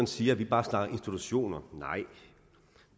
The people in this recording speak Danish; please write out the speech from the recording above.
siger at vi bare snakker institutioner nej